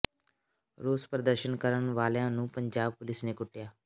ਰੋਸ ਪ੍ਰਦਰਸ਼ਨ ਕਰਨ ਵਾਲਿਆਂ ਨੂੰ ਪੰਜਾਬ ਪੁਲੀਸ ਨੇ ਕੁੱਟਿਆ